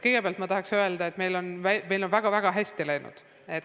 Kõigepealt ma tahan aga öelda, et meil on väga-väga hästi läinud.